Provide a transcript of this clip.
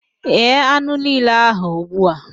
Ghee anụ niile ahụ ugbu a!